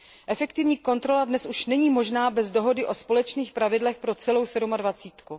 Efektivní kontrola dnes již není možná bez dohody o společných pravidlech pro celou sedmadvacítku.